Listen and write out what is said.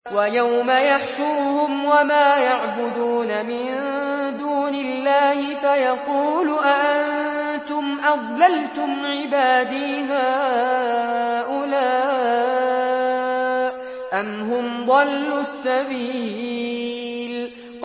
وَيَوْمَ يَحْشُرُهُمْ وَمَا يَعْبُدُونَ مِن دُونِ اللَّهِ فَيَقُولُ أَأَنتُمْ أَضْلَلْتُمْ عِبَادِي هَٰؤُلَاءِ أَمْ هُمْ ضَلُّوا السَّبِيلَ